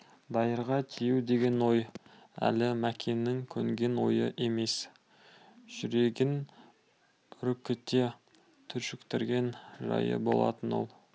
дайырға тию деген ой әлі мәкеннің көнген ойы емес жүрегін үркіте түршіктірген жайы болатын ол